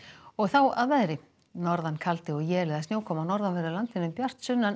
og þá að veðri norðan kaldi og él eða snjókoma á norðanverðu landinu en bjart sunnan